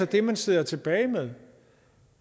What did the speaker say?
det man sidder tilbage med